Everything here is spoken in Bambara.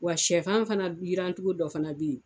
Wa shɛfan fana yiran cogo dɔ fana bɛ yen.